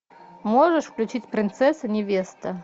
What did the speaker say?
можешь включить принцесса невеста